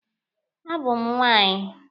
A bụ m nwaanyị.